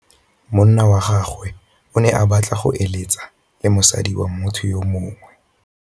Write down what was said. Monna wa gagwe o ne a batla go êlêtsa le mosadi wa motho yo mongwe.